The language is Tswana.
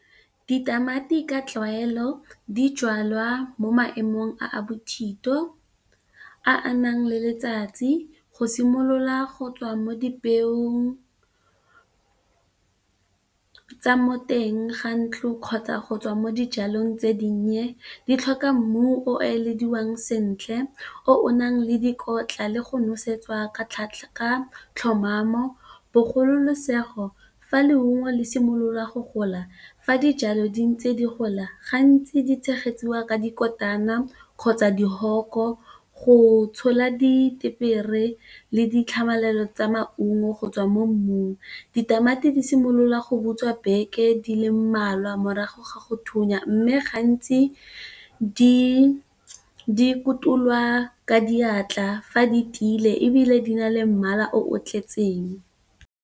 Ditamati ka tlwaelo di jalwa mo maemong a a bothito a a nang le letsatsi go simolola go tswa mo dipeong tsa mo teng ga ntlo kgotsa go tswa mo dijalong tse dinnye, di tlhoka mmu o elediwang sentle o o nang le dikotla le go nosetsa tlhomamo bogolosegolo. Fa leungo le simololwa go gola. Fa dijalo di ntse di gola gantsi di tshegetsiwa ka dikotana kgotsa di hoko, go tshola ditepere le ditlhamalelo tsa maungo go tswa mo mmung. Ditamati di simolola go butswa beke di le mmalwa morago ga go thunya m, me gantsi di kotulwa ka diatla fa di tiile ebile di na le mmala o tletseng.